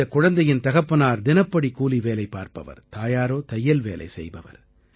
இந்தக் குழந்தையின் தகப்பனார் தினப்படிகூலி வேலை பார்ப்பவர் தாயாரோ தையல்வேலை செய்பவர்